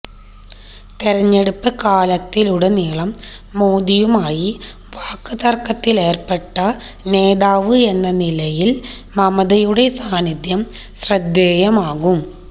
തെരഞ്ഞെടുപ്പ് കാലത്തുടനീളം മോദിയുമായി വാക്തര്ക്കത്തിലേര്പ്പെട്ട നേതാവ് എന്ന നിലയില് മമതയുടെ സാന്നിധ്യം ശ്രദ്ധേയമാകും